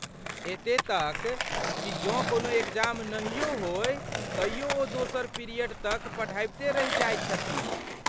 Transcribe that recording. एते तक कि जँ कोनो एग्जाम नहियो होय तइयो ओ दोसर पीरियड तक पढ़ाबिते रहि जाइत छथिन।